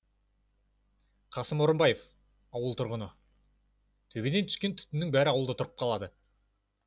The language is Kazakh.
қасым орынбаев ауыл тұрғыны төбеден түскен түтіннің бәрі ауылда тұрып қалады